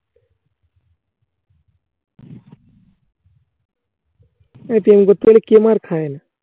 প্রেম করতে গেলে কে মার খায় না?